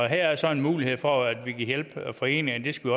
her er så en mulighed for at vi kan hjælpe foreningerne det skal